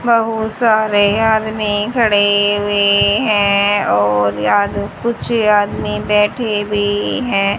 बहुत सारे आदमी खडे हुए हैं और यहां पे कुछ आदमी बैठे भी हैं।